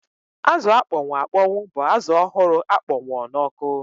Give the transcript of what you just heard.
Azụ akpọnwụ akpọnwụ bụ azụ ọhụrụ akpọnwụọ n'ọkụ